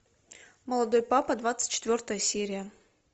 молодой папа двадцать четвертая серия